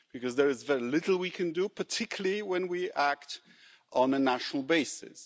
Because there is very little we can do, particularly when we act on a national basis.